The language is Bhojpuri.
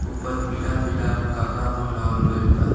ऊपर पीला-पीला कपड़ा पहनावल गइल बा।